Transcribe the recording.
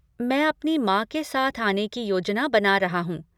मैं अपनी माँ के साथ आने की योजना बना रहा हूँ।